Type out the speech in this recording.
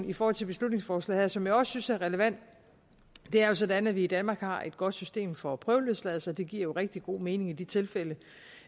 i forhold til beslutningsforslaget her som jeg også synes er relevant det er jo sådan at vi i danmark har et godt system for prøveløsladelse det giver jo rigtig god mening i de tilfælde